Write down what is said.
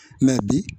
bi